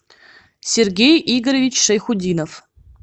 сергей игоревич шайхутдинов